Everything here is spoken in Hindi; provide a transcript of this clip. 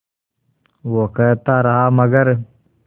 वो कहता रहा मगर